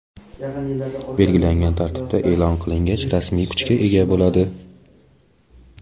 belgilangan tartibda e’lon qilingach rasmiy kuchga ega bo‘ladi.